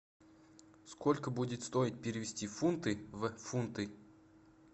сколько будет стоить перевести фунты в фунты